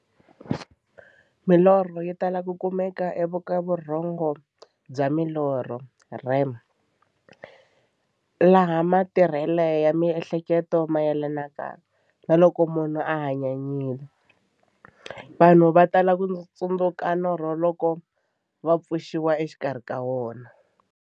Milorho yi tala ku kumeka eka vurhongo bya milorho, REM, laha matirhele ya miehleketo mayelanaka na loko munhu a hanyanyile. Vanhu va tala ku tsundzuka norho loko va pfuxiwa exikarhi ka wona.